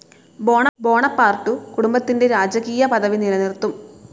Bonaparte കുടുംബത്തിന്റെ രാജകീയ പദവി നിലനിർത്തും.